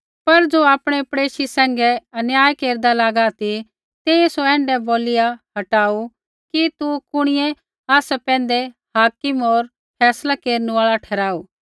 पर ज़ो आपणै पड़ेशी सैंघै अन्याय केरदा लागा ती तेइयै सौ ऐण्ढै बोलिआ हटाऊ कि तू कुणिऐ आसा पैंधै हाकिम होर फैसलै केरनु आल़ा ठहराऊ